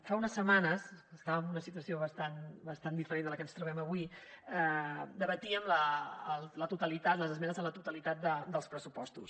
fa unes setmanes estàvem en una situació bastant diferent de la que ens trobem avui debatíem la totalitat les esmenes a la totalitat dels pressupostos